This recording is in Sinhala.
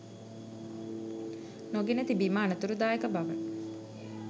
නොගෙන තිබීම අනතුරුදායක බව